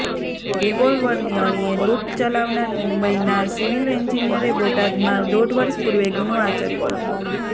રીવોલ્વરની અણીએ લુંટ ચલાવનાર મુંબઈનાં સિવિલ એન્જિનિયરે બોટાદમાં દોઢ વર્ષ પૂર્વે ગુનો આચર્યો હતો